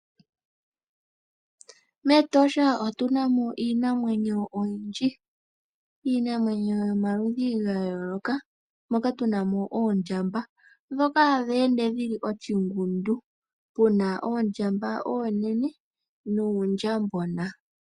Metosha otunamo iinamwenyo oyindji, iinamwenyo yomaludhi gayooloka moka tunamo oondjamba dhoka ha dheende dhili oshingundu muna oondjamba oonene nuundjambona.